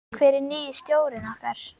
Hver er nýi stjórinn okkar?